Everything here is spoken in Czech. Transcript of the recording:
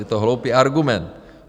Je to hloupý argument.